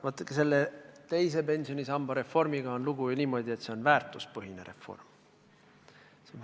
Vaadake, selle teise pensionisamba reformiga on lugu ju niimoodi, et see on väärtuspõhine reform.